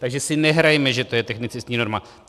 Takže si nehrajme, že to je technicistní norma.